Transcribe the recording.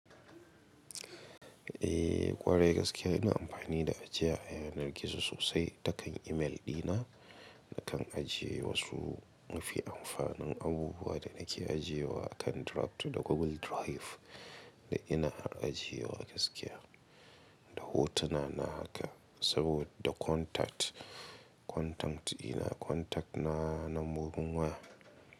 Eh ƙwarai gaskiya ina amfani da ajiye ayanar gizo sosai ta kan email dina, nakan ajiye wasu mafi amfanin abubuwa da nake ajiyewa akan draft da Google Drive da ina ajiyewa gaskiya. Da hotuna na haka saboda da contact, contact dina contact na nambobin waya.